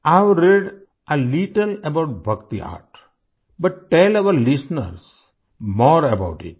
I have read a little about bhakti art but tell our listeners more about इत